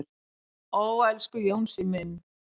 """Ó, elsku Jónsi minn."""